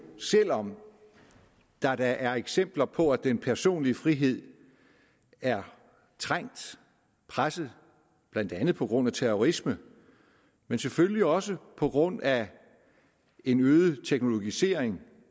selv om der da er eksempler på at den personlige frihed er trængt presset blandt andet på grund af terrorisme men selvfølgelig også på grund af en øget teknologisering